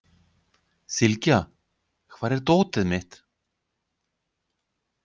Sylgja, hvar er dótið mitt?